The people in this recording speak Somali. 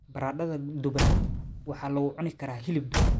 Baradhada duban waxaa lagu cuni karaa hilib duban.